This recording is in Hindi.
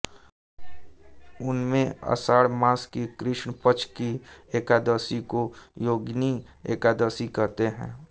उनमें आषाढ़ मास की कृष्ण पक्ष की एकादशी को योगिनी एकादशी कहते हैं